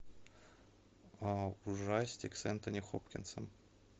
ужастик с энтони хопкинсом